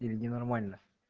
или не нормально